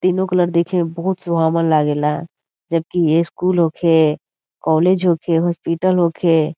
तीनो कलर देखे में बहुत सुहावन लागेला जब कि ये स्कूल होखे कॉलेज होखे हॉस्पिटल होखे।